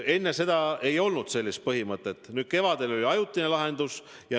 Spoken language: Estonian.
Enne seda ei olnud sellist põhimõtet, nüüd kevadel oli ajutine lahendus.